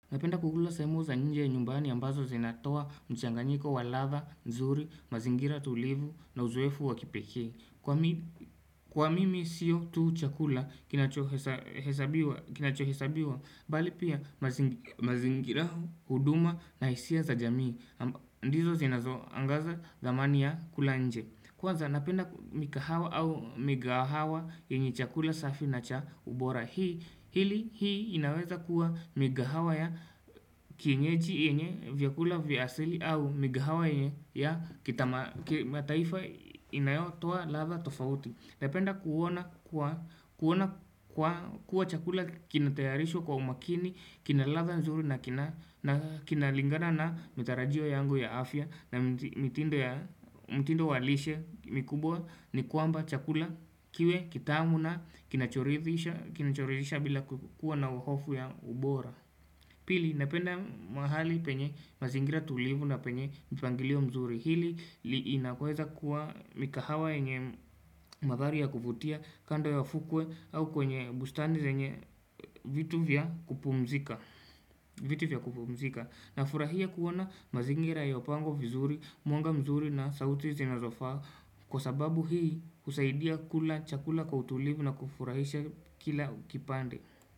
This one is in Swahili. Napenda kukula saimu za nje ya nyumbani ambazo zinatoa mchanganyiko waladha, nzuri, mazingira tulivu na uzuefu wakipekei. Kwa mimi siyo tu chakula kinachohesabiwa, bali pia mazingira huduma na hisia za jamii. Ndizo zinazo angaza zamani ya kulanje. Kwa za napenda mikahawa au migahawa yenye chakula safi na cha ubora. Hili hii inaweza kuwa migahawa ya kienyeji enye vyakula vyasili au migahawa enye ya kita ma taifa inayotua ladha tofauti Napenda kuwa chakula kinatayarisho kwa umakini, kinaladha mzuri na kinalingana na mitarajio yango ya afya na mitindo walishe mikubwa ni kwamba chakula kiwe kitamu na kinachoridhisha bila kukua na uhofu ya ubora Pili napenda mahali penye mazingira tulivu na penye mpangilio mzuri hili li inakweza kuwa mikahawa enye madhari ya kufutia kando ya fukwe au kwenye bustani zenye vitu vya kupumzika. Vitu vya kupumzika na furahia kuona mazingira ya opango vizuri, muanga mzuri na sauti zina zofa kwa sababu hii usaidia kula chakula kwa tulivu na kufurahisha kila kipande.